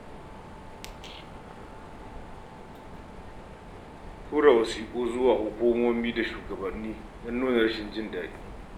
Tura wasiƙu zuwa hukumomi ko shugabanni don nuna rashin jin daɗi.